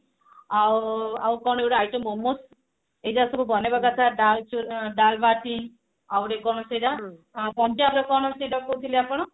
ଆଉ ଆଉକଣ ଗୋଟେ item ବନୋଉ ଏଗୁଡା ସବୁ ବନେଇବା କଥା ଡାଲ ଚୁ ଡାଲବାଟି ଆଉଟେ କଣ ସେଟା ପଞ୍ଜାବର କଣ ସେଟା କହୁଥିଲେ ଆପଣ